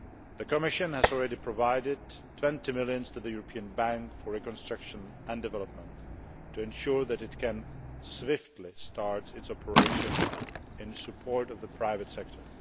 The Commission has already provided EUR 20 million to the European Bank for Reconstruction and Development, to ensure that it can swiftly start its operation in support of the private sector.